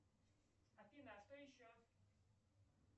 афина а что еще